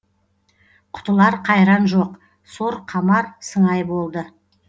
құтылар қайран жоқ сор қамар сыңай болды